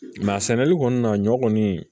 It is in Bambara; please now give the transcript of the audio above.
Mɛ sɛnɛli kɔni na ɲɔ kɔni